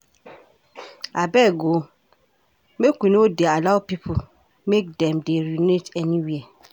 Abeg o, make we no dey allow pipo make dem dey urinate everywhere.